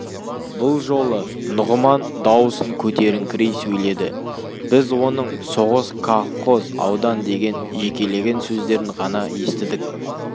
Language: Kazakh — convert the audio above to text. бұл жолы нұғыман даусын көтеріңкірей сөйледі біз оның соғыс колхоз аудан деген жекелеген сөздерін ғана естідік